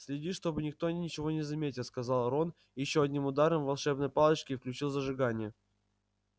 следи чтобы никто ничего не заметил сказал рон и ещё одним ударом волшебной палочки включил зажигание